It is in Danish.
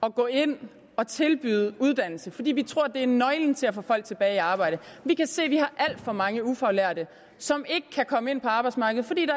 at gå ind og tilbyde uddannelse fordi vi tror at det er nøglen til at få folk tilbage i arbejde vi kan se at vi har alt for mange ufaglærte som ikke kan komme ind på arbejdsmarkedet fordi